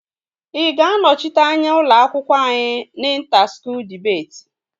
Ị ga-anọchite anya ụlọ akwụkwọ anyị na inta skuul dibeti?